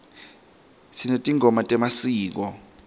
sinetingoma temasiko